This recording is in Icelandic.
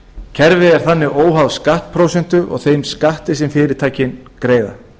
kerfið er þannig óháð skattprósentu og þeim skatti sem fyrirtækin greiða